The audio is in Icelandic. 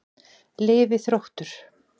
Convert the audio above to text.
Lifi Þróttur.